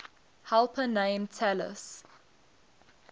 helper named talus